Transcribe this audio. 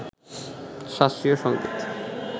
শাস্ত্রীয় সঙ্গীত